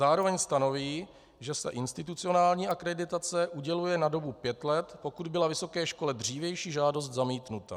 Zároveň stanoví, že se institucionální akreditace uděluje na dobu pět let, pokud byla vysoké škole dřívější žádost zamítnuta.